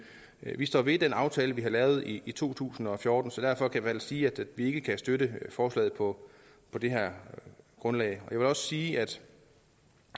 vi står ved den aftale vi lavede i to tusind og fjorten så derfor kan vi sige at vi ikke kan støtte forslaget på det her grundlag jeg vil også sige at